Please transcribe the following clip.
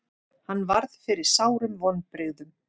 Hann varð fyrir sárum vonbrigðum.